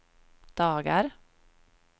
dagar